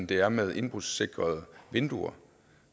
det er med indbrudssikrede vinduer